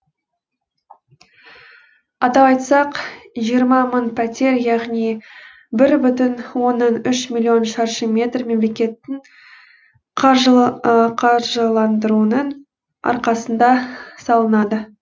атап айтсақ жиырма мың пәтер яғни бір бүтін оннан үш миллион шаршы метр мемлекеттің қаржыландыруының арқасында салынады